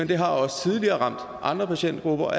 det har også tidligere ramt andre patientgrupper og